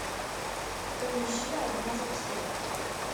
поищи одна за всех